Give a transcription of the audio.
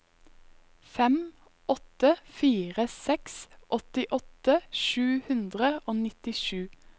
fem åtte fire seks åttiåtte sju hundre og nittisju